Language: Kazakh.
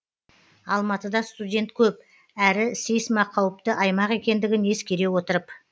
алматыда студент көп әрі сейсма қауіпті аймақ екендігін ескере отырып